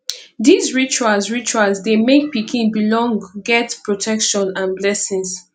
these rituals rituals de make pikin belong get protection and blessings